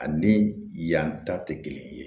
Ani yan ta tɛ kelen ye